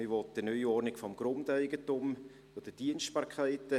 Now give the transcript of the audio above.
Man will eine Neuordnung des Grundeigentums, der Dienstbarkeiten.